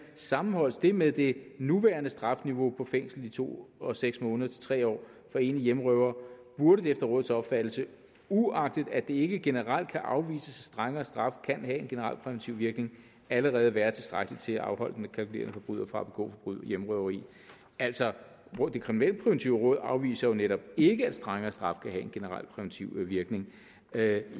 sammenholdes det med det nuværende strafniveau med fængsel i to og seks måneder til tre år for en hjemmerøver burde det efter rådets opfattelse uagtet at det ikke generelt kan afvises at strengere straffe kan have en generel præventiv virkning allerede være tilstrækkeligt til at afholde den kalkulerende forbryder fra at begå hjemmerøveri altså det kriminalpræventive råd afviser jo netop ikke at strengere straffe kan have en generel præventiv virkning jeg